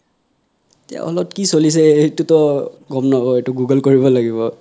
এতিয়া hall ত কি চলিছে সেইটো তো গম নাপাও সেইটো google কৰিব লাগিব